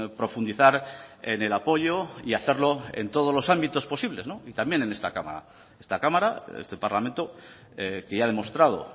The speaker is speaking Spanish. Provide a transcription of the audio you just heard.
profundizar en el apoyo y hacerlo en todos los ámbitos posibles y también en esta cámara esta cámara este parlamento que ya ha demostrado